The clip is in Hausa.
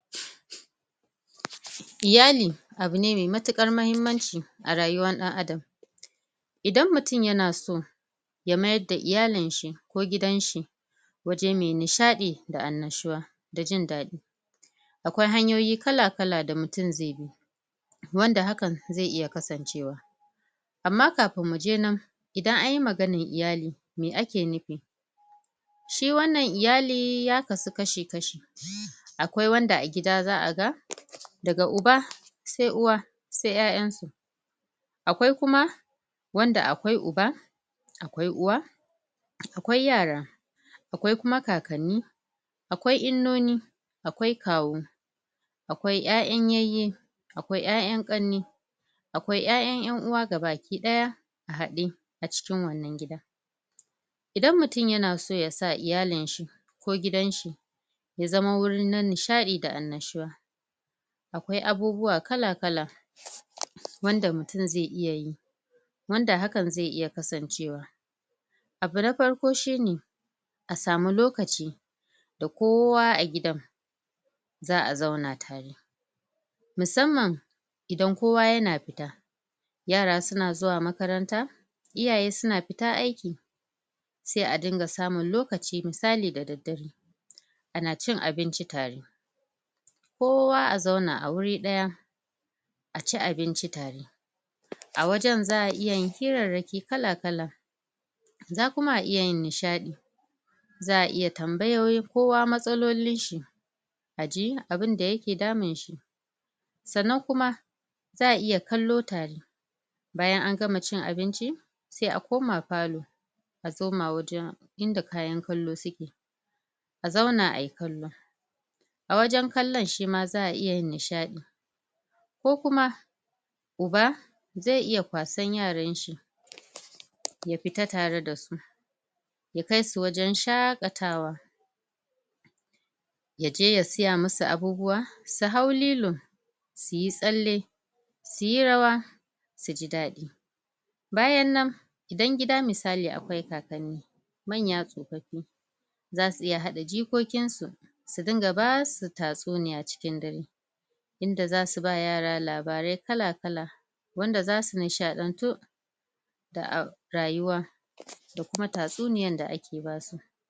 Iyali, abu ne mai matukar mahimmanci a rayuwar dan Adam. idan mutum ya na so ya mayar da iyalin shi, ko gidan shi waje mai nishadi, da an nashuwa da jin dadi akwai hanyoyi kala-kala da mutum zai bi wanda haka, zai iya kasancewa amma kafun mu je nan, idan an yi maganan iyali, mai ake nufi shi wannan iyali ya kasu kashi-kashi akwai wanda a gida zaa ga da ga uba sai uwa, sai ƴaƴan su akwai kuma, wanda akwai uba akwai uwa akwai yara, akwai kuma kakani akwai innoni, akwai kawu akwai ƴaƴan yayin, akwai ƴaƴan kanne akwai ƴaƴan yanuwa gabakidaya a hadde a cikin wannan gidan idan mutum ya na so ya sa iyalin shi, ko gidan shi ya zaman wurin na nishadi da al'nashuwa akwai abubuwa kala-kala wanda mutum zai iyayi wanda hakan zai iya kasancewa abu na farko shi ne a samu lokaci da kowa a gidan zaa zauna tare musamman idan kowa ya na fita yara su na zuwa makaranta, iyaye su na fita aiki sai a dinga samun lokaci misali dadadare a na cin abinci tare kowa a zauna a wuri daya a ci abinci tare a wajen zaa iya yin kirrarake kala-kala za kuma a iya yin nishadi zaa iya tambayoyi kowa matsalolin shi a ji abunda ya ke damun shi Tsannan kuma, zaa iya kallo tare bayan an gama cin abinci, sai a koma pallo a soma wajen inda kayan kallo su ke a zauna ayi kallo a wajen kallon shi ma zaa iya nishadi ko kuma uba, zai iya kwasan yaran shi ya fita tare da su ya kai su wajen shakatawa ya je ya siya masu abubuwa, su haw lilo su yi tsalle su yi rawa, su ji dadi. Bayan nan, idan gida misali akwai kakane manya tsofofi za su iya hada jikokin su su dinga ba su tasuniyya cikin dare inda za su ba yara labarai kala-kala, wanda za su nishadantu daa rayuwa da kuma tasuniyyan da ake ba su